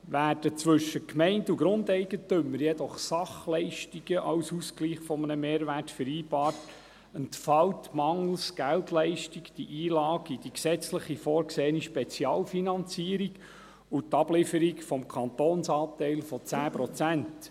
Werden zwischen Gemeinde und Grundeigentümer jedoch Sachleistungen als Ausgleich eines Mehrwerts vereinbart, entfällt mangels Geldleistung die Einlage in die gesetzlich vorgesehene Spezialfinanzierung und die Ablieferung des Kantonsanteils von 10 Prozent.